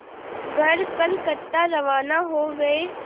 कर कलकत्ता रवाना हो गए